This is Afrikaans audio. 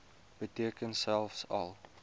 beteken selfs al